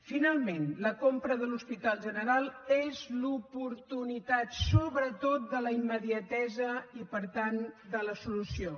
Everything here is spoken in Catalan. finalment la compra de l’hospital general és l’oportunitat sobretot de la immediatesa i per tant de la solució